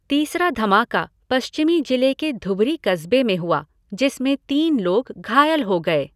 तीसरा धमाका पश्चिमी जिले के धुबरी कस्बे में हुआ, जिसमें तीन लोग घायल हो गए।